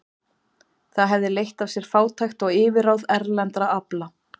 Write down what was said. Það hefði leitt af sér fátækt og yfirráð erlendra afla.